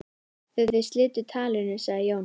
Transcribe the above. Þegar þeir slitu talinu sagði Jón